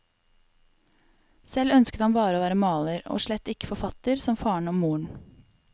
Selv ønsket han bare å være maler, og slett ikke forfatter som faren og moren.